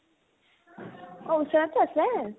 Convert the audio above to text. অ, ওচৰতে আছে